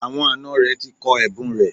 Àwọn àna rẹ̀ ti kọ ẹ̀bùn rẹ̀